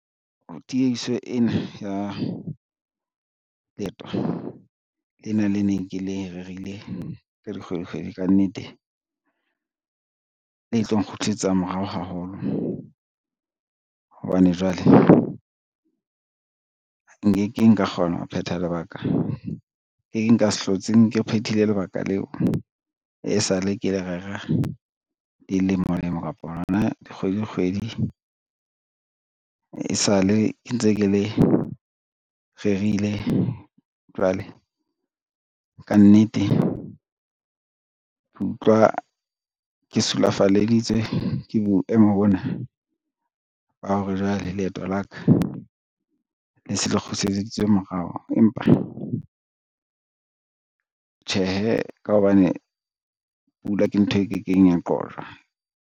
Tieiso ena ya leeto lena le neng ke le rerile ka dikgwedi kgwedi ka nnete, le tlo nkgutlisetsa morao haholo hobane jwale, nkekeng ka kgona ho phetha lebaka leng nka se hlotse ke phethile lebaka leo, e sa le ke le rera dilemo lemo kapa lona dikgwedi dikgwedi e sa le ntse ke le rerile. Jwale ka nnete, ke utlwa ke sulafalleditswe ke boemo bona ba hore jwale, leeto la ka le se le kgutlietseditswe morao, empa tjhehe ka hobane pula ke ntho e kekeng ya qojwa.